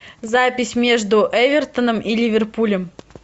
запись между эвертоном и ливерпулем